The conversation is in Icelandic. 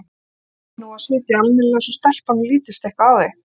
Reyndu nú að sitja almennilega svo stelpunum lítist eitthvað á þig